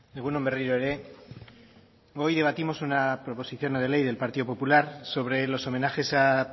egun on berriro ere hoy debatimos una proposición no de ley del partido popular sobre los homenajes a